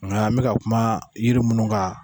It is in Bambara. Nga an be ka kuma yiri munnu kan